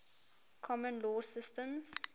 common law systems